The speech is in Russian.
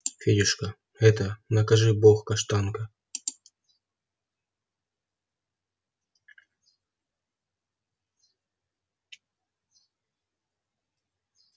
федюшка это накажи бог каштанка